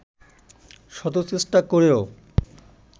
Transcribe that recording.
শত চেষ্টা করেও